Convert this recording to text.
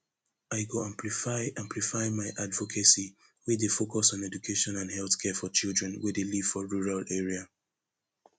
i go amplify amplify my advocacy wey dey focus on education and healthcare for children wey dey live for rural area